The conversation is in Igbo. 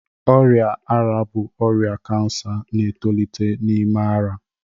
Ọrịa ara ara bụ ọrịa kansa na-etolite n'ime ara